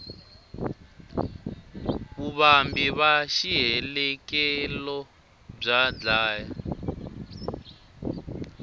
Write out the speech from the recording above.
vuvambi va xihelekelo bya dlaya